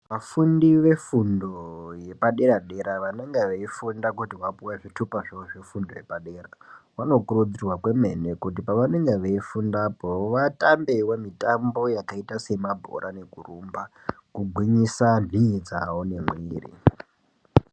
Vafundi vefundo yepadera dera vanenga veifunda kuti vapuwe zvitupa zvavo zvefundo yepadera, vanokurudzirwa kwemene kuti pavanenge veifunda apo vatambewo mitambo yakaita semabhora nekurumba kugwinyisa nhii dzavo nemwiri.